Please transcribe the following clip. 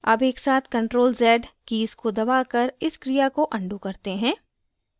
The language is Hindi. अब एक साथ ctrl + z कीज़ को दबाकर इस क्रिया को अन्डू करते हैं